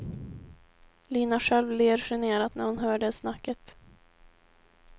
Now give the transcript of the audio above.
Lina själv ler generat när hon hör det snacket.